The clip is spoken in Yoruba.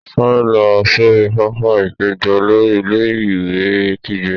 Sáré lọ sori pápá-ìpéjọ! Olórí ilé-ìwé kígbe.